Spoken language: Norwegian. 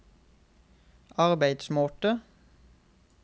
arbeidsmåte